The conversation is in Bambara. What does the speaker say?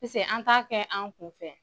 Pise an ta kɛ an kun fɛ.